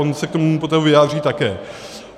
On se k tomu potom vyjádří také.